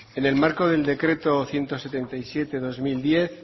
en el marco del decreto ciento setenta y siete barra dos mil diez